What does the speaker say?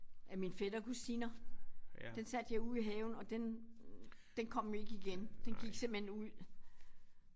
Af min fætter kusiner. Den satte jeg ud i haven og den den kom ikke igen den gik simpelthen ud